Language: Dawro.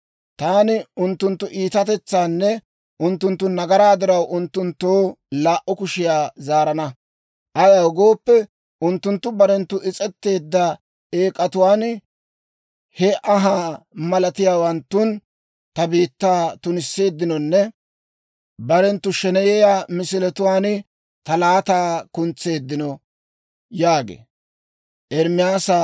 Taani unttunttu iitatetsaanne unttunttu nagaraa diraw unttunttoo laa"u kushiyaa zaarana. Ayaw gooppe, unttunttu barenttu is's'etteedda eek'atuwaan, he anhaa malatiyaawanttun ta biittaa tunisseeddinonne barenttu sheneyiyaa misiletuwaan ta laataa kuntseeddino» yaagee.